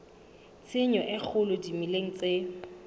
tshenyo e kgolo dimeleng tse